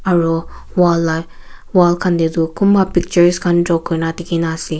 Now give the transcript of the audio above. Aro wall la wall khan dae tuh kunba pictures khan draw kurena dekhena ase.